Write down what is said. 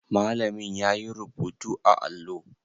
Malamin yayi rubutu a allo?